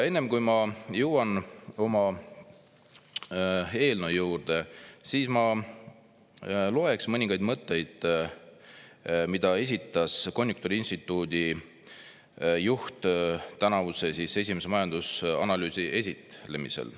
Enne, kui ma jõuan oma eelnõu juurde, ma loeks mõningaid mõtteid, mida esitas konjunktuuriinstituudi juht tänavuse esimese majandusanalüüsi esitlemisel.